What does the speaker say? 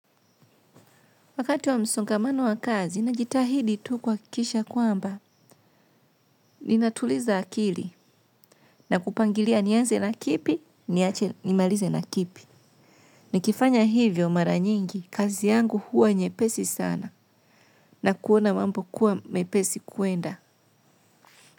Wakati wa msongamano wa kazi najitahidi tu kuwakisha kwamba, ninatuliza akili na kupangilia nianze na kipi, nimalize na kipi. Ni kifanya hivyo mara nyingi, kazi yangu huwa nyepesi sana na kuona mambo kuwa mepesi kuenda.